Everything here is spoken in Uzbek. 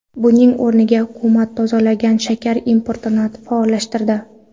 Buning o‘rniga, hukumat tozalangan shakar importini faollashtirdi.